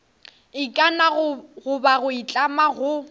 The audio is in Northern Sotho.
ikana goba go itlama go